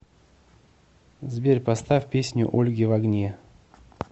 сбер поставь песню ольги в огне